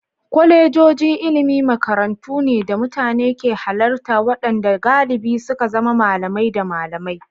Kwalejojin ilimi makarantu ne da mutane ke halarta waɗanda galibi suka zama malamai da malamai.